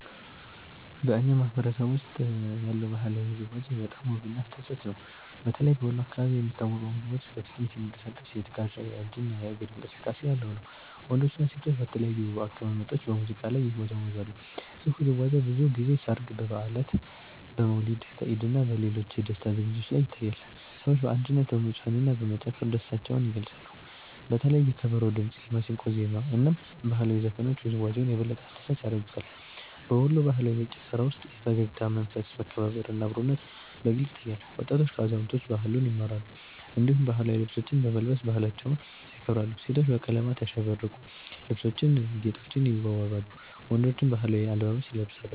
በእኛ ማህበረሰብ ውስጥ ያለው ባህላዊ ውዝዋዜ በጣም ውብና አስደሳች ነው። በተለይ በወሎ አካባቢ የሚታወቀው ውዝዋዜ በፍጥነት የሚንቀሳቀስ የትከሻ፣ የእጅ እና የእግር እንቅስቃሴ ያለው ነው። ወንዶችና ሴቶች በተለያዩ አቀማመጦች በሙዚቃ ላይ ይወዛወዛሉ። ይህ ውዝዋዜ ብዙ ጊዜ በሠርግ፣ በበዓላት፣ በመውሊድ፣ በኢድ እና በሌሎች የደስታ ዝግጅቶች ላይ ይታያል። ሰዎች በአንድነት በመዝፈንና በመጨፈር ደስታቸውን ይገልጻሉ። በተለይ የከበሮ ድምጽ፣ የማሲንቆ ዜማ እና ባህላዊ ዘፈኖች ውዝዋዜውን የበለጠ አስደሳች ያደርጉታል። በወሎ ባህላዊ ጭፈራ ውስጥ የፈገግታ መንፈስ፣ መከባበር እና አብሮነት በግልጽ ይታያል። ወጣቶች ከአዛውንቶች ባህሉን ይማራሉ፣ እንዲሁም ባህላዊ ልብሶችን በመልበስ ባህላቸውን ያከብራሉ። ሴቶች በቀለማት ያሸበረቁ ልብሶችና ጌጦች ይዋበዋሉ፣ ወንዶችም ባህላዊ አለባበስ ይለብሳሉ።